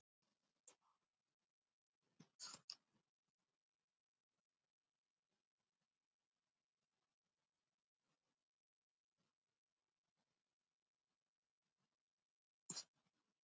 Það er því ekki úr vegi að velta því fyrir sér hvað skógarþrestir verða gamlir.